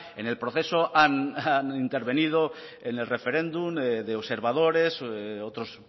en el proceso han intervenido en el referéndum de observadores otros